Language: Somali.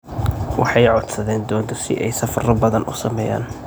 Waxay codsadeen doonta si ay safarro badan uu sameeyaan.